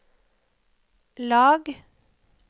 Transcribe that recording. lag